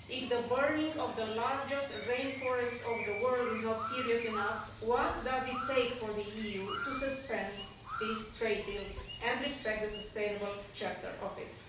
If the burning of the largest rainforest in the world is not serious enough, what does it take for the EU to suspend this trade deal and respect the sustainable chapter of it?